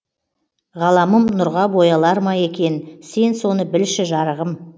ғаламым нұрға боялар ма екен сен соны білші жарығым